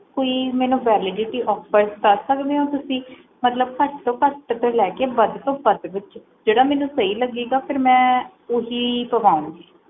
ਕੋਈ ਮੈਨੂੰ validityoffers ਦੱਸ ਸਕਦੇ ਹੋ ਤੁਸੀਂ ਮਤਲਬ ਘਾਟ ਤੋਂ ਘਾਟ ਤੋਂ ਲੈ ਕੇ ਵੱਧ ਤੋਂ ਵੱਧ ਵਿਚ ਝੜਾ ਮੈਨੂੰ ਸਹੀ ਲੱਗੂਗਾ ਫੇਰ ਓਹੀ ਪਵਾਉਂਗੀ